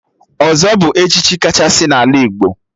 Ọzọ bụ echichi kachasị n'ala Igbo